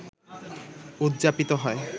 উদযাপিত হয়